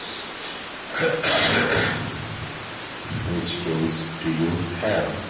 which cames to you have